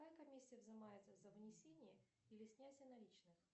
какая комиссия взимается за внесение или снятие наличных